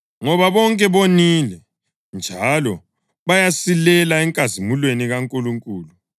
ngoba bonke bonile njalo bayasilela enkazimulweni kaNkulunkulu,